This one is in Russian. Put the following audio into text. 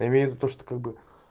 я имею ввиду то что как бы